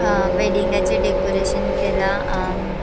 हा वेडिंगाचे डेकोरेशन केला अ ---